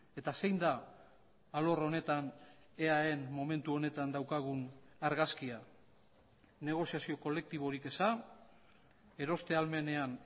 eta zein da alor honetan eaen momentu honetan daukagun argazkia negoziazio kolektiborik eza eroste ahalmenean